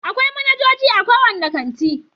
Akwai manajoji a kowane kanti.